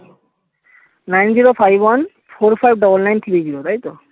nine -zero -five -one-four -five -double nine -three -zero তাই তো